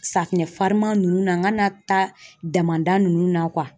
Safinɛ fariman nunnu n'an ka na taa damada nunnu na